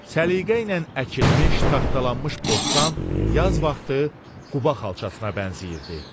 Səliqə ilə əkilmiş, taxtalanmış bostan yaz vaxtı Quba xalçasına bənzəyirdi.